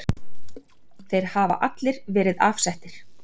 Þeir hafa allir verið afsettir.